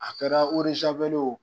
A kɛra y'o